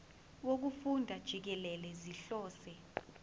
wokufunda jikelele sihlose